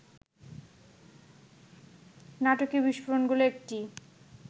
নাটকীয় বিস্ফোরণগুলোর একটি